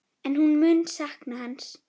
En hún mun sakna hans.